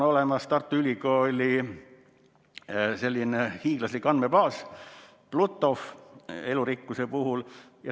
Tartu Ülikooli on olemas hiiglaslik andmebaas PlutoF elurikkuse kohta.